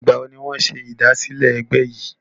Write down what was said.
Ìgbà wo ni wọn ṣe ìdásílẹ́ ẹgbẹ́ yìí?